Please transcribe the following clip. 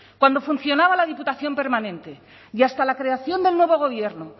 cuando funcionaba la diputación permanente y hasta la creación del nuevo gobierno